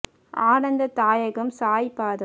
ஆனந்த தாயகம் சாயி பாதம்